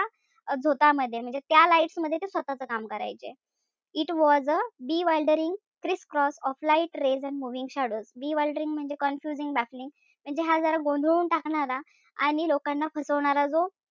झोतामध्ये म्हणजे त्या lights मध्ये ते स्वतःच काम करायचे. It was a bewildering crisscross of light rays and moving shadows bewildering म्हणजे confusing म्हणजे हा जरा गोंधळून टाकणारा आणि लोकांना फसवणार जो,